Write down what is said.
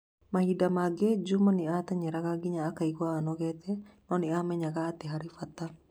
Mahinda mangĩ, Juma nĩ ateng'eraga nginya akaigua anogete, no nĩ aamenyaga atĩ nĩ harĩ bata.